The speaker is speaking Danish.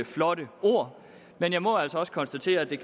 flotte ord men jeg må altså også konstatere at det